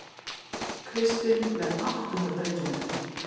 Kristinn með áttunda drengjametið